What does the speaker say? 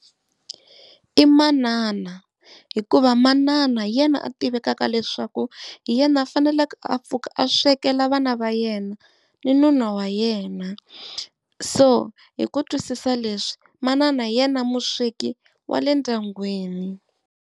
I manana hikuva manana hi yena a tivekaka leswaku hi yena a faneleke a pfuka a swekela vana va yena ni nuna wa yena, so hi ku twisisa leswi manana hi yena musweki wa le ndyangwini.